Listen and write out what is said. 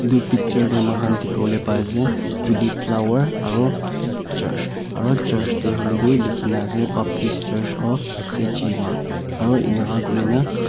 etu picture de moikan dikivolae pai ase tulip flower aro ek church aro church de hoile tu likina ase baptist church of sechima aro enika kurina.